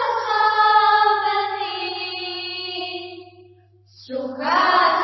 सुखदां वरदां मातरम् १